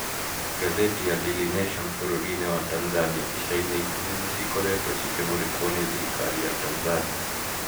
Ngathĩti ya Daily Nation bũrũri-inĩ wa Tanzanĩa ica-inĩ ikuhĩ nĩcĩkoretwo cikĩmũrĩkwo nĩ thirikari ya tanzania